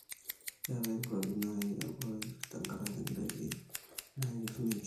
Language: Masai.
keetae nkuapi nayoloi te nkaraki ndaiki nayier ninche